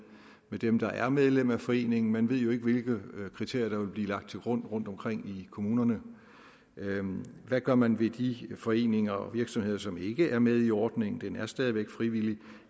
dem der er medlem af foreningen man ved jo ikke hvilke kriterier der vil blive lagt til grund rundtomkring i kommunerne hvad gør man ved de foreninger og virksomheder som ikke er med i ordningen den er stadig væk frivillig